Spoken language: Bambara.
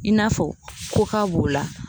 I n'a fɔ koka b'o la.